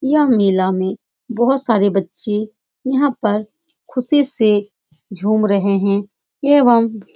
यह मेला में बोहोत सारे बच्चे यहाँ पर खुशी से झूम रहे हैं एवम--